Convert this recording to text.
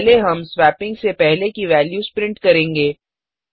पहले हम स्वेपिंग से पहले की वेल्यूस प्रिंट करेंगे